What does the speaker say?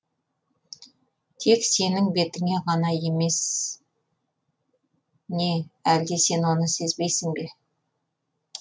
тек сенің бетіңе ғана емес не әлде сен оны сезбейсің бе